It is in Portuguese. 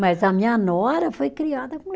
Mas a minha nora foi criada com